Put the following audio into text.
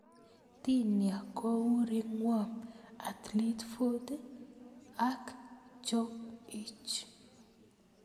Tinea ko u ringworm, athleathe foot ak jock itch.